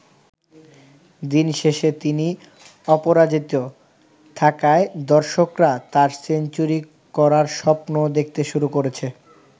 দিন শেষে তিনি অপরাজিত থাকায় দর্শকরা তার সেঞ্চুরি করার স্বপ্নও দেখতে শুরু করেছে।